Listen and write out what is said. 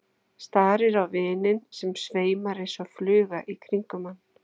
Starir á vininn sem sveimar eins og fluga í kringum hann.